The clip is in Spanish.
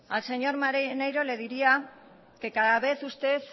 al señor maneiro le diría que cada vez usted